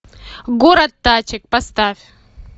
город тачек поставь